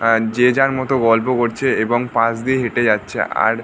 আর যে যার মতো গল্প করছে এবং পাশ দিয়ে হেঁটে যাচ্ছে। আর --